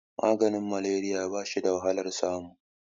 maganin malariya ba shi da wahalar samu